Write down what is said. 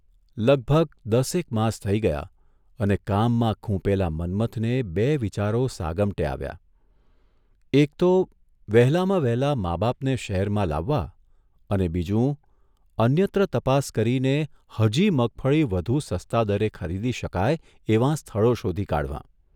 લગભગ દસેક માસ થઇ ગયા અને કામમાં ખૂંપેલા મન્મથને બે વિચારો સાગમટે આવ્યાઃ એક તો વહેલામાં વહેલા મા બાપને શહેરમાં લાવવા અને બીજું, અન્યત્ર તપાસ કરીને હજી મગફળી વધુ સસ્તા દરે ખરીદી શકાય એવાં સ્થળો શોધી કાઢવાં.